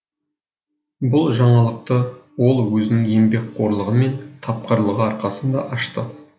бұл жаңалықты ол өзінің еңбекқорлығы мен тапқырлығы арқасында ашты